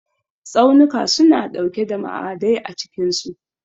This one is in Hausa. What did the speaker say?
Tsaunuka suna ɗauke da ma'adai a cikinsu.